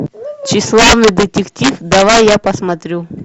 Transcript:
тщеславный детектив давай я посмотрю